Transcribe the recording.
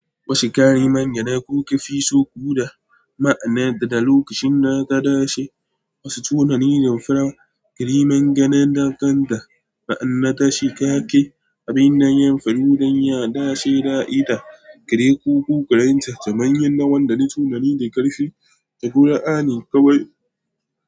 Wasu ƙariman yadda kuke fi so kuɗa ma'ana da lokacin da ta dace. Wasu tunanin farar ƙariman ganen dakan da ma'ana ta shikaƙe. Abin nan yan faru don ya dace da aida, ƙare ko ƙuƙarinta ta manyan na wanda ne tunani da ƙarfi. Ta ƙura ani kawai.